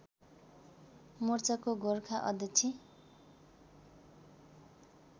मोर्चाको गोर्खा अध्यक्ष